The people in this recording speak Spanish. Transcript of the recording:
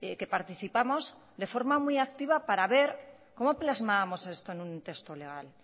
que participamos de forma muy activa para ver cómo plasmábamos esto en un texto legal